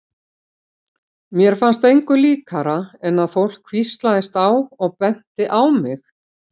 Mér fannst engu líkara en að fólk hvíslaðist á og benti á mig.